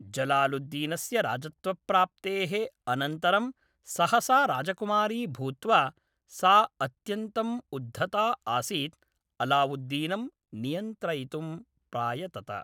जलालुद्दीनस्य राजत्वप्राप्तेः अनन्तरं सहसा राजकुमारी भूत्वा, सा अत्यन्तम् उद्धता आसीत्, अलावुद्दीनं नियन्त्रयितुं प्रायतत।